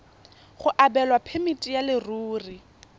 go abelwa phemiti ya leruri